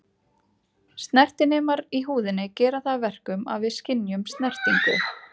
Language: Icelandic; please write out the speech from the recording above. Snertinemar í húðinni gera það að verkum að við skynjum snertingu.